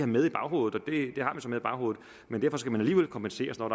med i baghovedet men derfor skal man alligevel kompenseres når